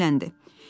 Nənə dilləndi.